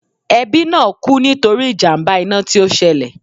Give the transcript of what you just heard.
Ẹbí náà kú nítorí ìjàmbá iná tí ó ṣẹlẹ̀